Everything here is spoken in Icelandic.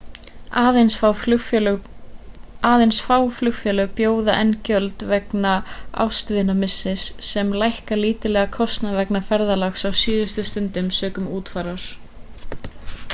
aðeins fá flugfélög bjóða enn gjöld vegna ástvinamissis sem lækka lítillega kostnað vegna ferðalaga á síðustu stundu sökum útfarar